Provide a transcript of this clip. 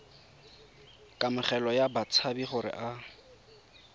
kamogelo ya batshabi gore a